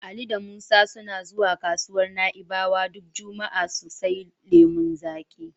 Ali da Musa suna zuwa kasuwar Na'ibawa duk juma'a su sai lemon zaƙi.